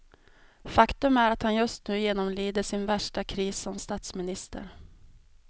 Faktum är att han just nu genomlider sin värsta kris som statsminister.